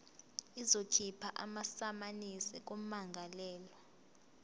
izokhipha amasamanisi kummangalelwa